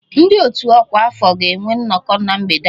Ndị otu ọkwa afọ ga-enwe nnọkọ na mgbede a